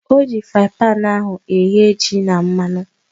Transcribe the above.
Oji fraaịn panu ahu eghe ji ahu na mmanụ